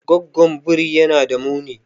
Goggon biri yana da muni.